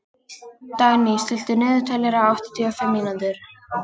Dagný, stilltu niðurteljara á áttatíu og fimm mínútur.